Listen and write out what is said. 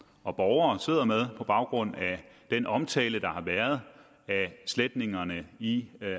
og borgere sidder med på baggrund af den omtale der har været af sletningerne i